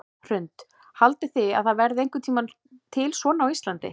Hrund: Haldið þið að það verði einhvern tímann til svona á Íslandi?